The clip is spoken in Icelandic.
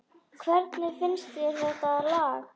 Hvernig finnst þér þetta lag?